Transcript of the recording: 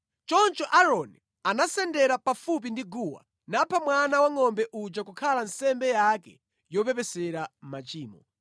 Choncho Aaroni anasendera pafupi ndi guwa, napha mwana wangʼombe uja kukhala nsembe yake yopepesera machimo.